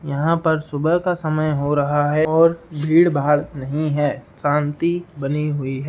यहाँ पर सुबह का समय हो रहा है और भीड़ भाड़ नहीं है शांति बनी हुई है।